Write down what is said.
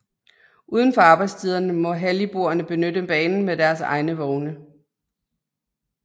Udenfor arbejdstiderne må halligboerne benytte banen med deres egne vogne